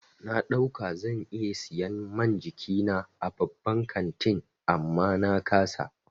Na ɗauka zan iya siyan man jikina a babban kantin amma na ƙasa.